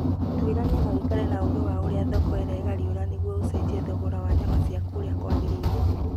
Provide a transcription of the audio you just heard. Twĩrania na ũikare na ũgi wa ũria thoko iregariũra nĩguo ucenjie thogora wa nyama ciaku ũria kwagĩrĩire